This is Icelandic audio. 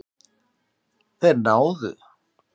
Þeir náðu